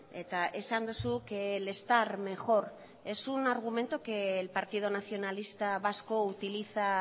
eta esan duzu que el estar mejor es un argumento que el partido nacionalista vasco utiliza